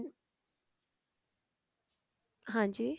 ਹਾਂਜੀ